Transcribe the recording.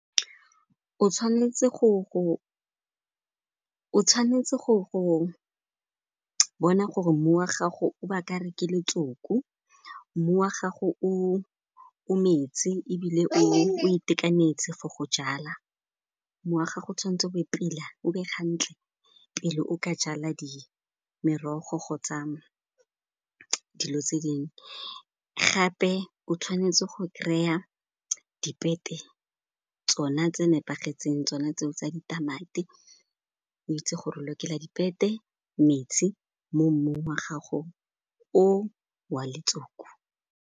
O tshwanetse go bona gore mmu wa gago o ba ka re ke letsoku, mmu wa gago o metsi ebile o itekanetse for go jala. Mmu wa gago o tshwanetse o be pila, o be gantle pele o ka jala merogo kgotsa dilo tse dingwe, gape o tshwanetse go kry-a dipete tsona tse nepagetseng, tsona tseo tsa ditamati. O itse gore lokela dipete metsi mo mmung wa gago o wa letsoku.